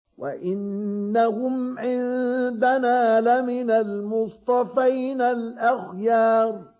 وَإِنَّهُمْ عِندَنَا لَمِنَ الْمُصْطَفَيْنَ الْأَخْيَارِ